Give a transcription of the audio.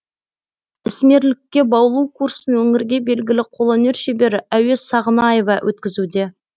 ісмерлікке баулу курсын өңірге белгілі қолөнер шебері әуес сағынаева өткізуде